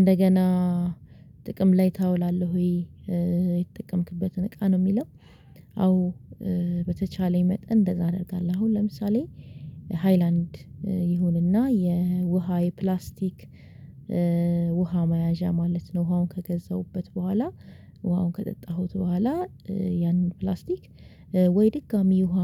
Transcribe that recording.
እንደገና ጥቅም ላይ ታውላለህ ወይ የተጠቀምክበትን እቃ ነው የሚለው? አዎ በተቻለኝ መጠን እንደዛ አደርጋለሁ አሁን ለምሳሌ ሃይላንድ ይሁንና የውሃ የፕላስቲክ ውሃ መያዣ ማለት ነው ውሃውን ከገዛሁበት በኋላ ውሃውን ከጠጣሁት በኋላ ያንን ፕላስቲክ ወይ ድጋሚ ውሃ